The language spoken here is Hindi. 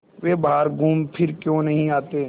वे बाहर घूमफिर क्यों नहीं आते